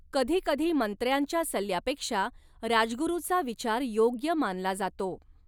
कधीकधी मंत्र्यांच्या सल्ल्यापेक्षा राजगुरुचा विचार योग्य मानला जातो.